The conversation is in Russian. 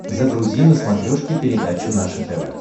загрузи на смотрешке передачу наше тв